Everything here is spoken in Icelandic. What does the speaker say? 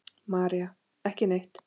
María: Ekki neitt.